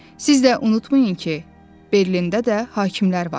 “Siz də unutmayın ki, Berlində də hakimlər var.